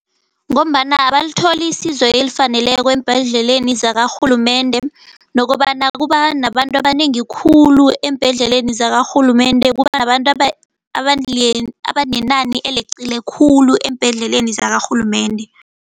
Ngombana abalitholi isizo elifaneleko eembhedleleni zakarhulumende, nokobana kuba nabantu abanengi khulu eembhedleleleni zakarhulumende. Kuba nabantu abanengi abanenani eleqile khulu eembhedleleni zakarhulumende.